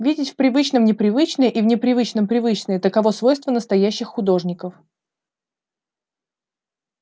видеть в привычном непривычное и в непривычном привычное таково свойство настоящих художников